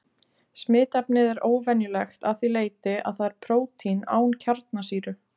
Smitefnið er óvenjulegt að því leyti að það er prótín án kjarnasýru.